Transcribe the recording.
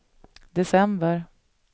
december